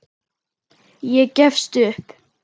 Ég gefst upp.